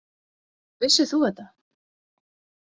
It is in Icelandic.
Vissir þú þetta?